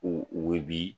U bɛ bi